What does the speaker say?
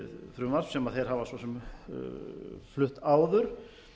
frumvarp sem þeir hafa svo sem flutt áður